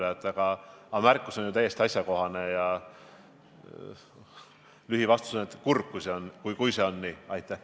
Aga teie märkus on täiesti asjakohane ja lühivastus on, et kurb, kui see nii on.